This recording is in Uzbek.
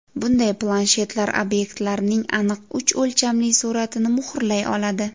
Bunday planshetlar obyektlarning aniq uch o‘lchamli suratini muhrlay oladi.